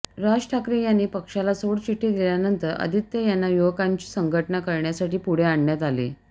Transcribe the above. राज ठाकरे यांनी पक्षाला सोडचिठ्ठी दिल्यानंतर आदित्य यांना युवकांची संघटना करण्यासाठी पुढे आणण्यात आले